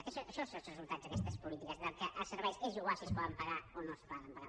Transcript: això són els resultats d’aquestes polítiques que els serveis és igual si es poden pagar o no es poden pagar